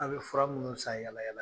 A' be fura minnu san yaala yaala